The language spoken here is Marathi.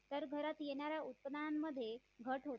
तर घरात येणाऱ्या उत्पन्नामध्ये घट होते